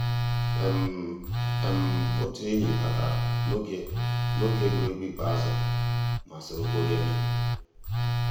um ótú ényí batàrà n'ògé égwuégwu ikpéázụ́ má sòró kpòríé ndù.